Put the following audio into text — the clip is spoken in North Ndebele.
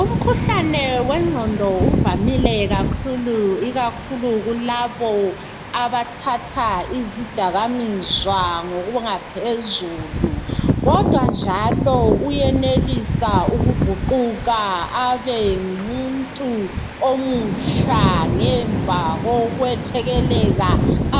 Umkhuhlane wengqondo avamile ikakhulu kulabo abathatha izidakwamizwa ngokungaphezulu, kodwa njalo uyenelisa ukuguquka abengumuntu omutsha ngemva kokwethekelela